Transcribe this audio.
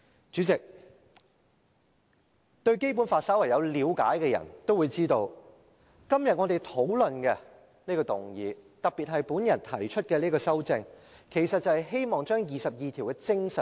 主席，對《基本法》稍為有了解的人也會知道，今天我們所討論的這項議案，特別是我提出的這項修正案，其實是希望加入《基本法》第二十二條的精神。